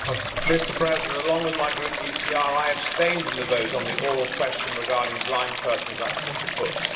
Mr President, along with my Group, the ECR, I abstained in the vote on the oral question regarding blind persons' access to books.